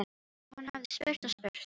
Já, hann hafði spurt og spurt.